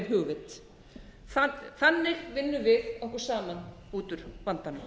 hugvit þannig vinnum við okkur saman út úr vandanum